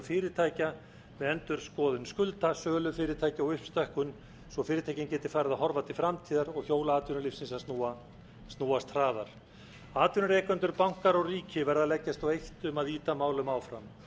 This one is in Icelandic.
fyrirtækja með endurskoðun skulda sölu fyrirtækja og uppstokkun svo fyrirtækin geti farið að horfa til framtíðar og hjól atvinnulífsins að snúast hraðar atvinnurekendur bankar og ríki verða að leggjast á eitt um að ýta málum áfram í